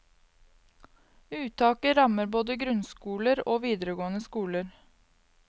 Uttaket rammer både grunnskoler og videregående skoler.